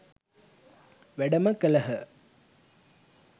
වැඩම කළහ